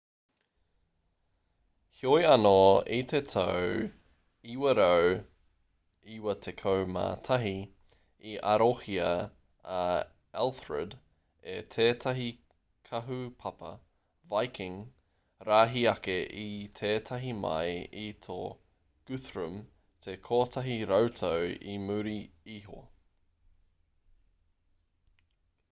heoi anō i te tau 991 i arohia a elthred e tētahi kahupapa viking rahi ake i tētahi mai i tō guthrum te kotahi rautau i muri iho